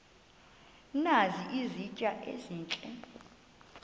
nazi izitya ezihle